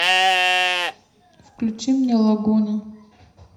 включи мне лагуна